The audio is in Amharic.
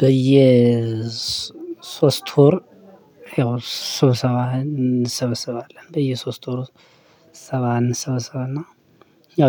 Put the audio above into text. በየ ሶስት ወር ያው ስብሰባ እንሰበሰባለን። በየሶስት ወር ስብሰባ እንሰበሰብ እና